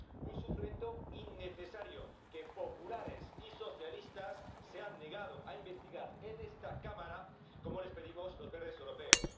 Un sufrimiento innecesario que populares y socialistas se han negado a investigar en esta Cámara, como les pedimos los verdes europeos.